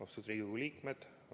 Austatud Riigikogu liikmed!